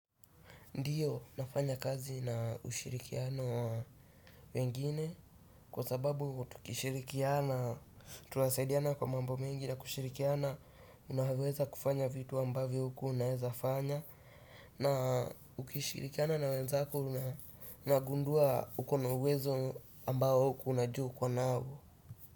Ndio, nafanya kazi na ushirikiano wa wengine, kwa sababu, tukishirikiana, tunasaidiana kwa mambo mengi na kushirikiana unaweza kufanya vitu ambavyo hukua unaeza fanya na ukishirikiana na wenzako, unagundua ukona uwezo ambao hukuwa unajua ukonao.